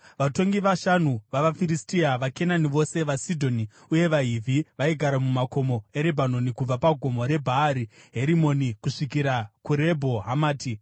vatongi vashanu vavaFiristia, vaKenani vose, vaSidhoni, uye vaHivhi vaigara mumakomo eRebhanoni kubva paGomo reBhaari Herimoni kusvikira kuRebho Hamati.